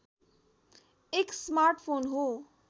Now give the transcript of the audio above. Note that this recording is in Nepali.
एक स्मार्टफोन हो